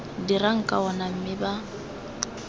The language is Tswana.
dirang ka ona mme ba